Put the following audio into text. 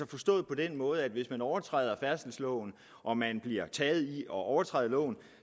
forstås på den måde at hvis man overtræder færdselsloven og man bliver taget i at overtræde loven